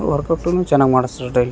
ವರ್ಕೌಟುನು ಚೆನ್ನಾಗ್ ಮಾಡಿಸ್ತಾರೆ ಡೈಲಿ .